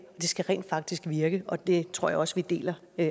skal rent faktisk virke og det tror jeg også vi deler